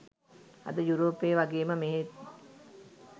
අද යුරෝපයේ වගේ ම මෙහෙත්